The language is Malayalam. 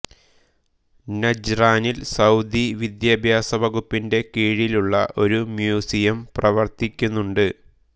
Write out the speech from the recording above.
നജ്റാനിൽ സൌദി വിദ്യാഭ്യാസ വകുപ്പിന്റെ കീഴിലുള്ള ഒരു മ്യൂസിയം പ്രവർത്തിക്കുന്നുണ്ട്